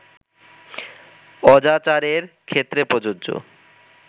অজাচারের ক্ষেত্রে প্রযোজ্য